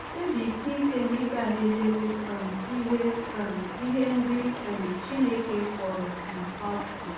Kpebisie ike na ị gaghị elele um ihe um ihe ndị um Chineke kpọrọ um asị.